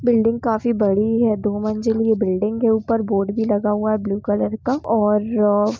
building काफी बड़ी है दो मजिल की बिल्डिंग ऊपर बोर्ड भी लगा है का ब्लू कलर का और--